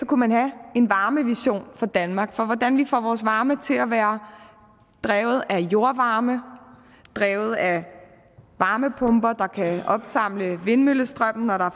kunne man have en varmevision for danmark for hvordan vi får vores varme til at være drevet af jordvarme drevet af varmepumper der kan opsamle vindmøllestrømmen når der